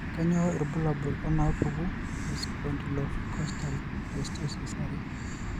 Kainyio irbulabul onaapuku eSpondylocostal dysostosis are?